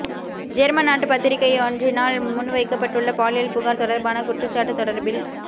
German நாட்டு பத்திரிகையொன்றினால் முன்வைக்கப்பட்டுள்ள பாலியல் புகார் தொடர்பான குற்றச்சாட்டு தொடர்பி